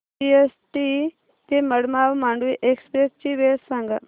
CST ते Madgaon Mandovi express ची वेळ सांगा